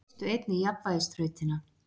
Þær leystu einnig jafnvægisþrautina.